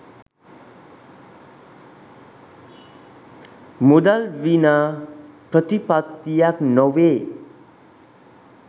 මුදල් විනා ප්‍රතිපත්තියක් නොවේ.